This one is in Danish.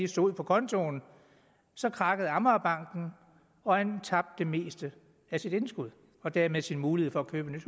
stod på kontoen krakkede amagerbanken og han tabte det meste af sit indskud og dermed sin mulighed for at købe